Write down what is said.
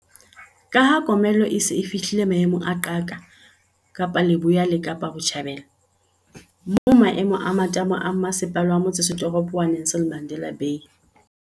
Ka ha komello e se e fihlile maemong a qaka Kapa Leboya le Kapa Botjhabela, moo maemo a matamo a Mmase pala wa Motsetoropo wa Nelson Mandela Bay.